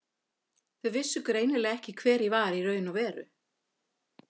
Þau vissu greinilega ekki hver ég var í raun og veru.